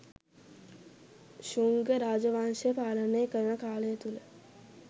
ශුංග රාජ වංශය පාලනය කරන කාලය තුළ